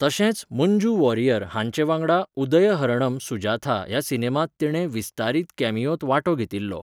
तशेंच मंजू वॉरियर हांचे वांगडा उदयहरणम सुजाथा ह्या सिनेमांत तिणें विस्तारीत कॅमियोंत वांटो घेतिल्लो.